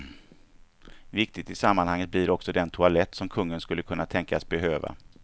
Viktig i sammanhanget blir också den toalett som kungen skulle kunna tänkas behöva.